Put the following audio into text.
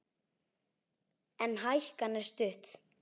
En hækan er stutt.